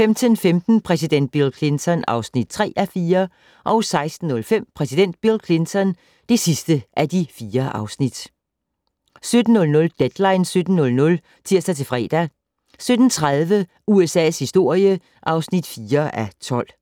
15:15: Præsident Bill Clinton (3:4) 16:05: Præsident Bill Clinton (4:4) 17:00: Deadline 17.00 (tir-fre) 17:30: USA's historie (4:12)